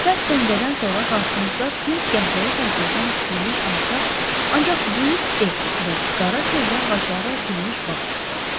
Sərt döngədən sonra qarşımızda tünd qəhvəyi kərpicdən tikilmiş alçaq, ancaq böyük ev və qara çöhrə ağacları əkilmiş bağ çıxdı.